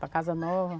Para a casa nova.